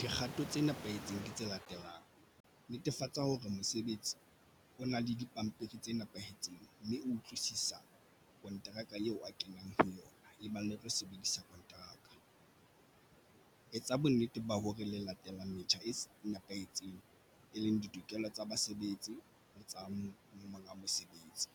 Dikgato tse nepahetseng ke tse latelang. Netefatsa hore mosebetsi o na le dipampiri tse nepahetseng mme utlwisisa konteraka eo a kenang ho yona e bang le tlo sebedisa kontraka. Etsa bonnete ba hore le latelang metjha e nepahetseng e leng ditokelo tsa basebetsi le tsa monga mosebetsi.